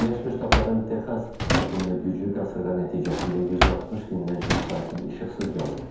Birləşmiş Ştatların Texas ştatında güclü qasırğa nəticəsində 160 mindən çox sakin işıqsız qalıb.